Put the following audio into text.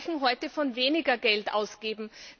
Sie sprechen heute davon, weniger Geld auszugeben.